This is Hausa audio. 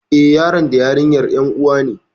Eh, yaron da yarinyar ƴan uwa ne